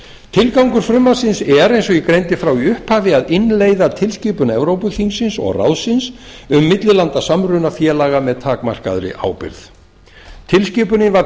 tilgangur frumvarpsins er eins og ég greindi frá í upphafi að innleiða tilskipun evrópuþingsins og ráðsins númer um millilandasamruna félaga með takmarkaðri ábyrgð tilskipunin var